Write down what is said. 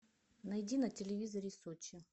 найди на телевизоре сочи